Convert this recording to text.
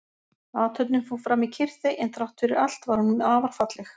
Athöfnin fór fram í kyrrþey en þrátt fyrir allt var hún afar falleg.